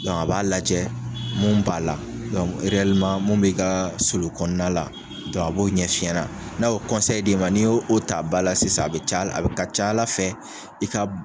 a b'a lajɛ mun b'a la mun b'i ka sulu kɔnɔna la, a b'o ɲɛ f'i ɲɛna, n'a y'o m, a n'i ye o ta ba la sisan a bɛ ca a ca Ala fɛ i ka